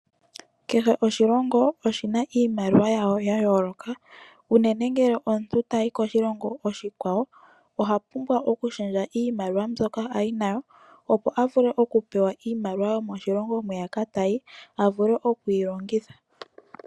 Kehe oshilongo oshi na iimaliwa yasho ya yooloka, unene ngele omuntu ta yi koshilongo oshikwawo oha pumbwa okushendja iimaliwa mbyoka nayo, opo a vule okupewa iimaliwa yomoshilongo mwiya ka ta yi a vule okuyi longitha.